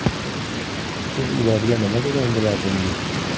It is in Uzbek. Siz ularga nima degan bo‘lardingiz?